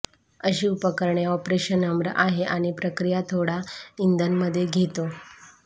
अशा उपकरणे ऑपरेशन नम्र आहे आणि प्रक्रिया थोडा इंधन मध्ये घेतो